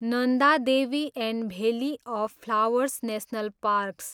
Nanda Devi and valley of flowers national parks